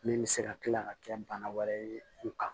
Min bɛ se ka kila ka kɛ bana wɛrɛ ye u kan